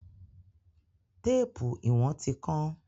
Téèpù ìwọ̀n ti kán.